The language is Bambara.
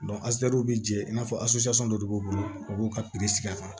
astu be jɛn i n'a fɔ de b'u bolo u b'u ka sigi a kan